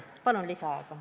Palun lisaaega!